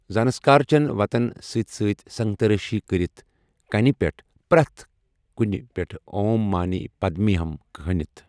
زانسكار چین وتن سۭتۍ سۭتۍ سنگترٲشی كرِتھ كٕنہِ پٕیٹھ، پریتھ كُنہٕ پیٹھ چُھ 'اوم مانے پدمے ہم ' كھنِتھ ۔